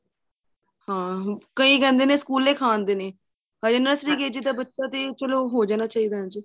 ਹਾਂ ਕਹਿੰਦੇ ਨੇ ਸਕੂਲੇ ਖਾਹ ਆਦੇ ਨੇ ਅਜੇ nursery KG ਦਾ ਬੱਚਾ ਤੇ ਚਲੋਂ ਹੋ ਜਾਣਾ ਚਾਹੀਦਾ ਏ